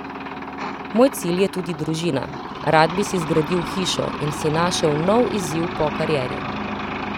Moj cilj je tudi družina, rad bi si zgradil hišo in si našel nov izziv po karieri.